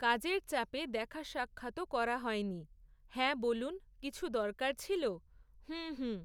কাজের চাপে দেখা সাক্ষাৎও করা হয়নি, হ্যাঁ বলুন, কিছু দরকার ছিল? হুম হুম।